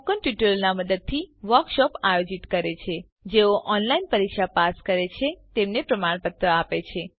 મૌખિક ટ્યુટોરીયલોનાં મદદથી વર્કશોપોનું આયોજન કરે છે જેઓ ઓનલાઈન પરીક્ષા પાસ કરે છે તેમને પ્રમાણપત્રો આપે છે